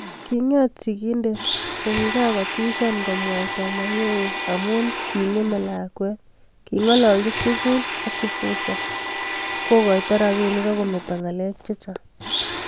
kinget sikindet kokikakotishan komwaita mayowe amu kingemee lakwet, kingololchi sugul ak kifuja, kokoito ropinik akometa ngalek chichang